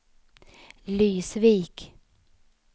Lysvik